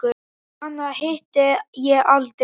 Hana hitti ég aldrei.